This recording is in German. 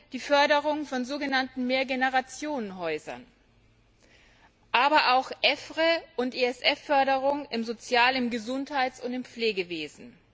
die Förderung von so genannten Mehr Generationen Häusern, aber auch EFRE und ESF Förderung im Sozial im Gesundheits und im Pflegewesen.